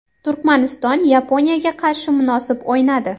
Turkmaniston Yaponiyaga qarshi munosib o‘ynadi.